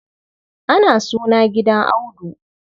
Ana suna gidan Audu.